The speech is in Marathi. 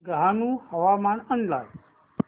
डहाणू हवामान अंदाज